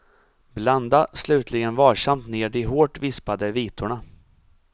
Blanda slutligen varsamt ner de hårt vispade vitorna.